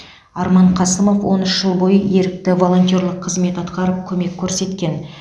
арман қасымов он үш жыл бойы ерікті волонтерлік қызмет атқарып көмек көрсеткен